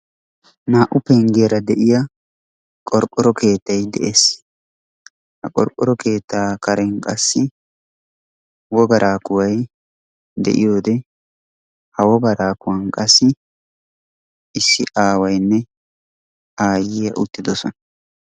Naa"u penggiyara de'iya qorqqoro keettay de'ees. Ha qorqoro keettaa karen qassi wogaraa kuway de'iyode, ha wogaraa kuwan qassi issi aawaynne aayyiya uttidosona.